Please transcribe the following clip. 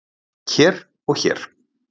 hér og hér